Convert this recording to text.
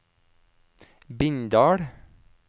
Bindal